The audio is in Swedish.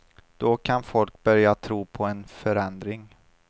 Då kan folk börja tro på en förändring.